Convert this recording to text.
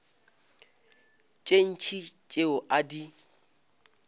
tše ntši tšeo a di